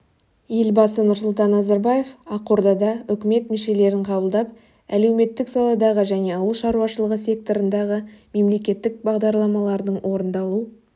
елбасы нұрсұлтан назарбаев ақордада үкімет мүшелерін қабылдап әлеуметтік саладағы және ауыл шаруашылығы секторындағы мемлекеттік бағдарламалардың орындалу